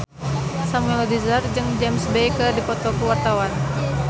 Samuel Rizal jeung James Bay keur dipoto ku wartawan